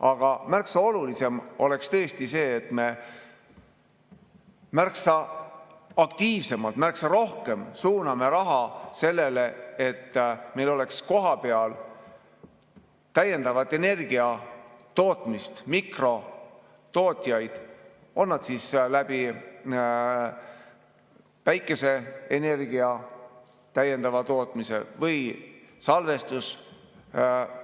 Aga olulisem oleks see, kui me märksa aktiivsemalt, märksa rohkem suunaksime raha sellele, et meil oleks kohapeal täiendavat energiatootmist, mikrotootjaid, toimub see siis päikeseenergia täiendava tootmise või salvestusmeetodite